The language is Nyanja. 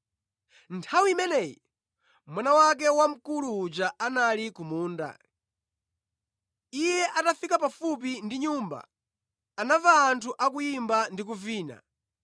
“Nthawi imeneyi, mwana wake wamkulu uja anali ku munda. Iye atafika pafupi ndi nyumba, anamva anthu akuyimba ndi kuvina.